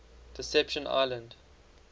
deception island